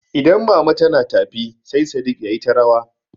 Idan mama tana tafi sai Sadik yayi ta rawa.